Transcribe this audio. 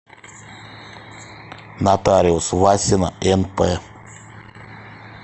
нотариус васина нп